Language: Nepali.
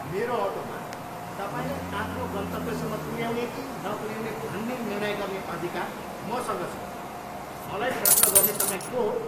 मेरो अटोमा तपाईँलाई आफ्नो गन्तव्यसम्म पुऱ्याउने कि नपुऱ्याउने भन्ने निर्णय गर्ने अधिकार मसँग छ। मलाई प्रश्न गर्ने तपाईँ को हो?